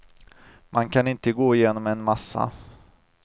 Man kan inte gå igenom en massa.